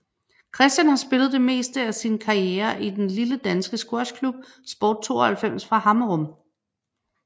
Kristian har spillet det meste af sin karriere i den lille danske squashklub Sport 92 fra Hammerum